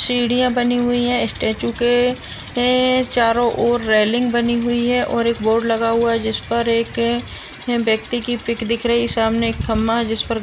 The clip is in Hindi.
सीढ़ियाँ बनी हुई है स्टैचू के एं चारों ओर रेलिंग बनी हुई है और एक बोर्ड लगा हुआ जिस पर एक व्यक्ति की पिक दिख रही है सामने एक खंबा जिस पर --